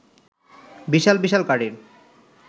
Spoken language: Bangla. বিশাল বিশাল গাড়ির